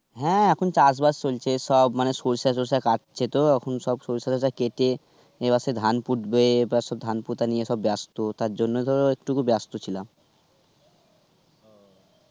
হ্যাঁ এখন চাষ বাস চলছে সব. মানে সরিষা টরিসা কাটছে তো, এখন সব সরিষা টরিসা কেটে এবার সে ধান পুতবে. এবার সব ধান পোতা নিয়ে সব ব্যস্ত. তারজন্য ধরো একটুকু ব্যস্ত ছিলাম.